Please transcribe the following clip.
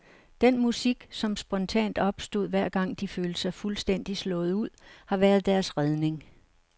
Den musik som spontant opstod hver gang de følte sig fuldstændig slået ud, har været deres redning.